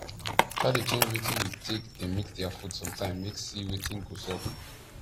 try dey change wetin u take dey mix their food sometime make see wetin go sup